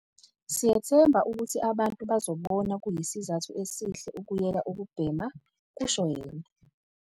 "Siyethemba ukuthi abantu bazobona kuyisizathu esihle ukuyeka ukubhema," kusho yena.